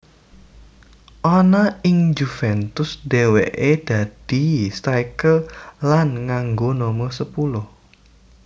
Ana ing Juventus dhèwèké dadi striker lan nganggo nomer sepuluh